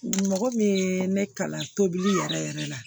Mɔgɔ min ye ne kalan tobili yɛrɛ yɛrɛ la